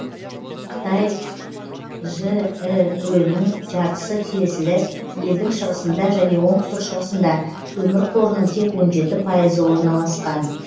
қытай жіө нің жартысы тиесілі елдің шығысында және оңтүстік шығысында көмір қорының тек он жеті пайызы орналасқан